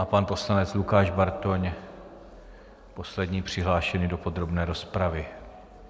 A pan poslanec Lukáš Bartoň, poslední přihlášený do podrobné rozpravy.